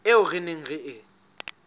eo re neng re e